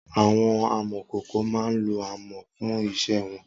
Awọn àmọ̀kókó má n ló ámọ̀ fùn iṣẹ̀ wọn